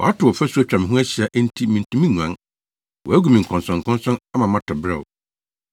Wato ɔfasu atwa me ho ahyia enti mintumi nguan; wagu me nkɔnsɔnkɔnsɔn ama matɔ beraw.